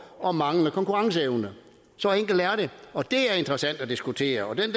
og manglende konkurrenceevne så enkelt er det og det er interessant at diskutere og den